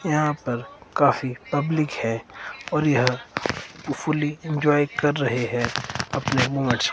यहां पर काफी पब्लिक है और यह फूली एंजॉय कर रहे हैं अपने मौज --